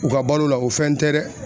U ka balo la o fɛn tɛ dɛ.